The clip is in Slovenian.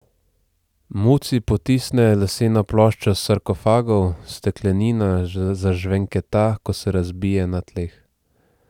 Muci potisne leseno ploščo s sarkofagov, steklenina zažvenketa, ko se razbije na tleh.